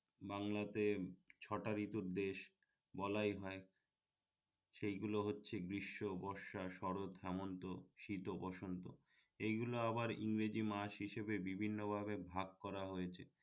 বাংলাতে ছটা ঋতুর দেশ বলাই হয় সেই গুলো হচ্ছে গ্রীষ্ম, বর্ষা, শরৎ, হেমন্ত, শীত ও বসন্ত এইগুলো আবার ইংরেজি মাস হিসেবে বিভিন্ন ভাবে ভাগ করা হয়েছে